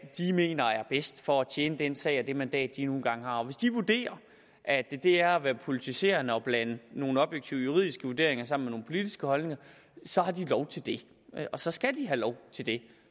mener er bedst for at tjene den sag og det mandat de nu engang har hvis de vurderer at det er at være politiserende og blande nogle objektive juridiske vurderinger sammen med nogle politiske holdninger så har de lov til det og så skal de have lov til det